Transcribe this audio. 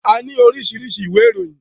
A ni oríṣiríṣi iwe ìròyìn.